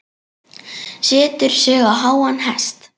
Setur sig á háan hest.